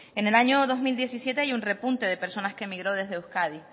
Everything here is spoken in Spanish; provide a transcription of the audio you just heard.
en el año dos mil diecisiete hay un repunte de personas que migró desde euskadi